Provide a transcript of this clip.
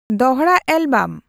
ᱫᱚᱦᱲᱟ ᱮᱞᱵᱚᱢ